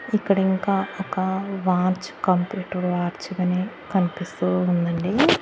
ఇక్కడ ఇంకా ఒక వాచ్ కంప్యూటర్ వాచ్ గానే కనిపిస్తూ ఉందండి.